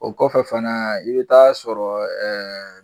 O kɔfɛ fana i bi taa sɔrɔ